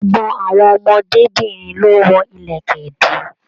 Gbogbo àwọn ọmọdébinrin ló wọ ìlẹ̀kẹ̀ ìdí.